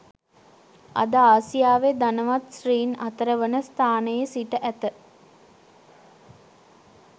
අද ආසියාවේ ධනවත් ස්ත්‍රීන් අතරවන ස්ථානයේ සිට ඇත